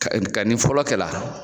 Nga ni fɔlɔ kɛ la